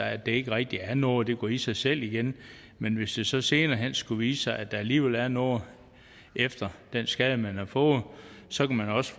at det ikke rigtig er noget det går i sig selv igen men hvis det så senere hen skulle vise sig at der alligevel er noget efter den skade man har fået så kan man også